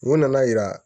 U nana yira